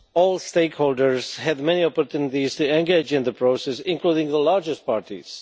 All stakeholders had many opportunities to engage in the process, including the largest parties.